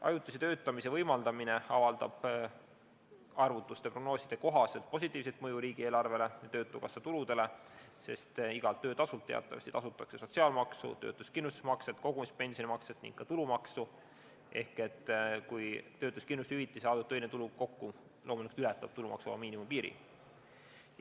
Ajutise töötamise võimaldamine avaldab arvutuste ja prognooside kohaselt positiivset mõju riigieelarvele ja töötukassa tuludele, sest igalt töötasult teatavasti tasutakse sotsiaalmaksu, töötuskindlustusmakset, kogumispensionimakset ning ka tulumaksu, kui töötuskindlustushüvitis ja saadud töine tulu kokku ületavad tulumaksuvaba miinimumi piiri.